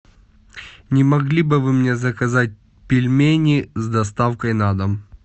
не могли бы вы мне заказать пельмени с доставкой на дом